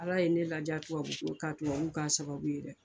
Ala ye ne ladiya tubabu ko ka tubabu k'a sababu ye dɛ.